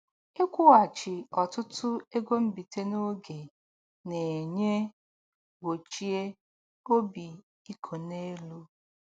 Ịkwụghachi ọtụtụ ego mbite n'oge na-enye gbochie obi iko n'elu